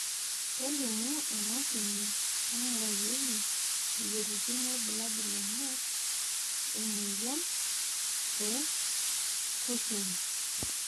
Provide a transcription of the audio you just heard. kelimu emashini naingurarieki imoyiaritin irbulabol lena moyian e Cushing's